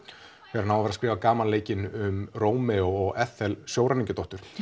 þegar hann á að vera að skrifa gamanleikinn um Rómeó og Ethel sjóræningjadóttur